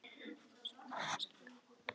En þú skalt koma með Vask hingað á mánudaginn.